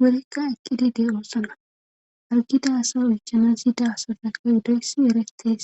worikka ekki digge oossana argida asa oychana zida asatakka uddoysi eretees